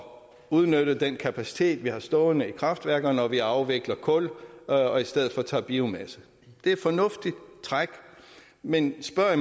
udnytte den kapacitet vi har stående i kraftværkerne når vi afvikler kul og i stedet for tager biomasse det er et fornuftigt træk men spørger